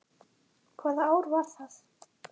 Hvaða ár var það?